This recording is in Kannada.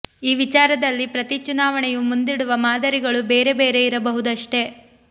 ಈ ವಿಚಾರದಲ್ಲಿ ಪ್ರತೀ ಚುನಾವಣೆಯೂ ಮುಂದಿಡುವ ಮಾದರಿಗಳು ಬೇರೆ ಬೇರೆ ಇರಬಹುದಷ್ಟೆ